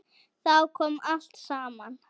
Þá kom allt saman.